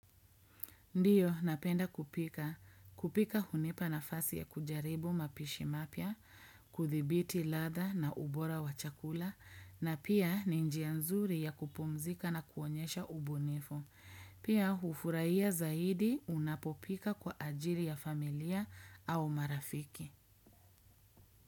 Ndiyo, napenda kupika. Kupika hunipa nafasi ya kujaribu mapishi mapya, kuthibiti ladha na ubora wa chakula, na pia ninjia nzuri ya kupumzika na kuonyesha ubunifu. Pia, hufurahia zaidi unapopika kwa ajili ya familia au marafiki.